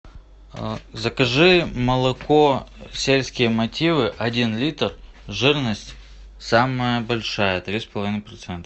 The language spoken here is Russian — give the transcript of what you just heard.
закажи молоко сельские мотивы один литр жирность самая большая три с половиной процента